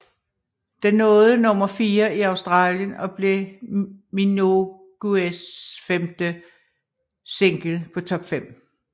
Den nåede nummer fire i Australien og blev Minogues femte single på Top 5